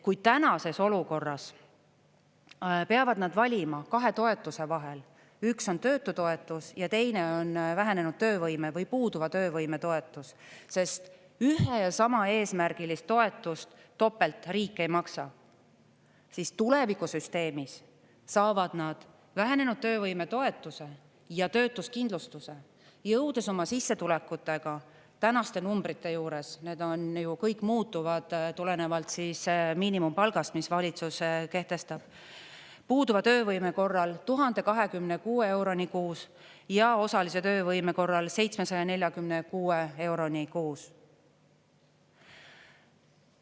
Kui tänases olukorras peavad nad valima kahe toetuse vahel, üks on töötutoetus ja teine on vähenenud töövõime või puuduva töövõime toetus, sest ühe ja sama eesmärgilist toetust topelt riik ei maksa, siis tulevikusüsteemis saavad nad vähenenud töövõime toetuse ja töötuskindlustuse, jõudis oma sissetulekutega tänaste numbrite juures – need on ju kõik muutuvad tulenevalt miinimumpalgast, mis valitsuse kehtestab – puuduva töövõime korral 1026 euroni kuus ja osalise töövõime korral 746 euroni kuus.